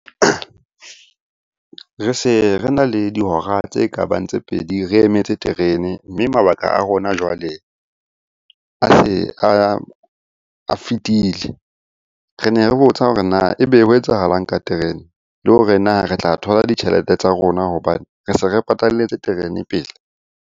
Re se re na le dihora tse ka bang tse pedi re emetse terene. Mme mabaka a rona jwale a se a fetile. Re ne re botsa hore na e be ho etsahalang ka terene? Le hore na re tla thola ditjhelete tsa rona hobane re se re patalletse terene pele?